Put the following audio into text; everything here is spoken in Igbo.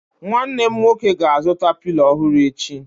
Nwanne nwoke m ga-azụta Pilo ọhụrụ echi